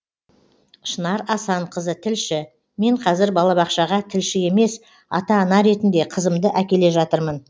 шынар асанқызы тілші мен қазір балабақшаға тілші емес ата ана ретінде қызымды әкеле жатырмын